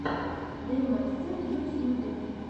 демастер в ютьюбе